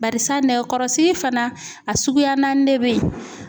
Barisa nɛgɛkɔrɔsigi fana a suguya naani de beyi.